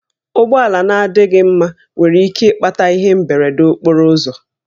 Ụgbọala na-adịghị mma nwere ike ịkpata ihe mberede okporo ụzọ